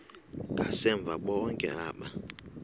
ngasemva bonke aba